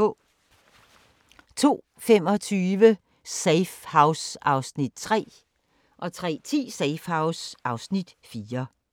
02:25: Safe House (Afs. 3) 03:10: Safe House (Afs. 4)